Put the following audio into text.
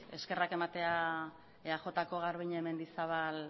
eskerrak ematea eajko garbiñe mendizabal